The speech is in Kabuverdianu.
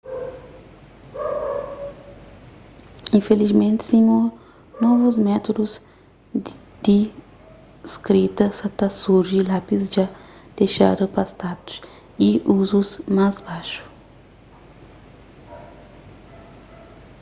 infilismenti sima novus métudus di skrita sa ta surji lápis dja dexadu pa status y uzus más baxu